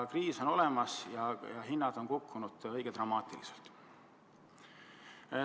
Kriis on olemas ja hinnad on kukkunud drastiliselt.